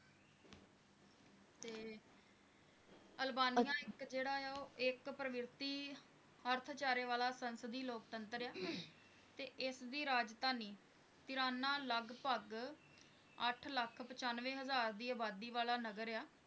Albania ਇਕ ਜਿਹੜਾ ਆ ਇਕ ਪ੍ਰੀਵਰਿੱਤੀ ਰਤਚਾਰੇ ਵਾਲੇ ਸੈਂਸੀਡੀ ਲੋਕਤੰਤਰ ਆ ਤੇ ਇਸ ਦੀ ਰਾਜਧਾਨੀ ਤਿਰਾਣਾ ਲਗਭਗ ਅੱਠ ਲੱਖ ਪਛਾਂਵੇ ਹਜਾਰ ਵਾਲੀ ਜਨਸੰਖਿਆ ਵਾਲਾ ਨਗਰ ਆ